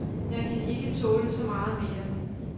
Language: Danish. Jeg kan ikke tåle så meget mere.